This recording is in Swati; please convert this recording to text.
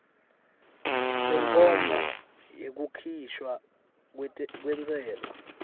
senkhomba yekukhishwa kwentsela